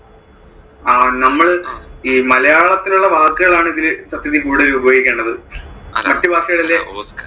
നമ്മള് ഈ മലയാളത്തിൽ ഉള്ള വാക്കുകൾ ആണ് ഇതില് സത്യത്തിൽ കൂടുതലും ഉപയോഗിക്കേണ്ടത് മറ്റു വാക്കുകള്